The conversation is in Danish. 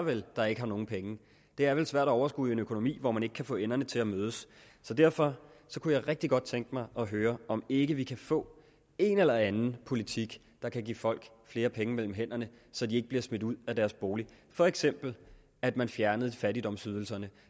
der ikke har nogen penge det er vel svært at overskue en økonomi hvor man ikke kan få enderne til at mødes derfor kunne jeg rigtig godt tænke mig at høre om ikke vi kan få en eller anden politik der kan give folk flere penge mellem hænderne så de ikke bliver smidt ud af deres bolig for eksempel at man fjernede fattigdomsydelserne